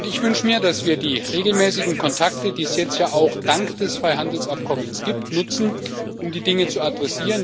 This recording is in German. Ich wünsche mir, dass wir die regelmäßigen Kontakte, die es jetzt ja auch dank des Freihandelsabkommens gibt, nutzen, um die Dinge anzugehen.